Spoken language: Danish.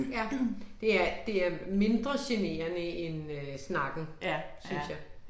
Ja, det er det er mindre generende end øh snakken synes jeg